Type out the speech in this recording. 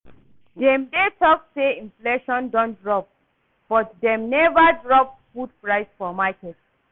Dem dey talk say inflation don drop but dem never drop food prices for market